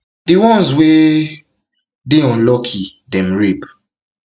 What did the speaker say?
di ones wey dey unlucky dem rape